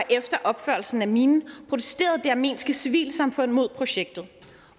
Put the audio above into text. efter opførelsen af minen protesterede det armenske civilsamfund mod projektet